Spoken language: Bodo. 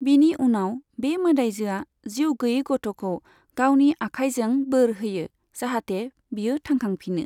बिनि उनाव, बे मोदाइजोआ जिउ गैयै गथ'खौ गावनि आखाइजों बोर होयो, जाहाथे बियो थांखांफिनो।